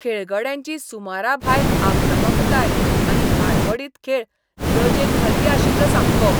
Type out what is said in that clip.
खेळगड्यांची सुमराभायर आक्रमकताय आनी हाडबडीत खेळ लजेक घालपी आशल्लो सामको.